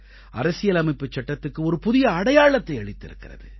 அரசியலமைப்புச் சட்டத்துக்கு ஒரு புதிய அடையாளத்தை அளித்திருக்கிறது